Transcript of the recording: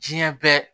Diɲɛ bɛɛ